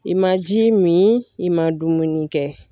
I ma ji mi i ma dumuni kɛ